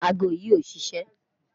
Àágọ̀̀ yi ò ṣiṣẹ̣